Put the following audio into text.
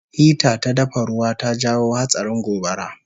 Hita ta dafa ruwa ta jawo hatsarin gobara